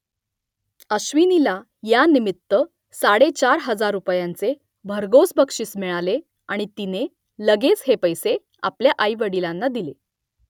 अश्विनीला यानिमित्त साडेचार हजार रुपयांचे भरघोस बक्षीस मिळाले आणि तिने लगेच हे पैसे आपल्या आईवडिलांना दिले